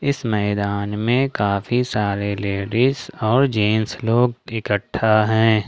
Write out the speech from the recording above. इस मैदान में काफी सारे लेडिस और जेंट्स लोग इकट्ठा हैं।